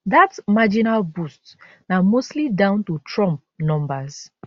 dat marginal boost na mostly down to trump numbers